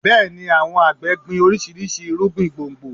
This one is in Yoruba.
Bẹ́ẹ̀ni, àwọn àgbẹ̀ gbin oríṣiríṣi irúgbìn gbòǹgbò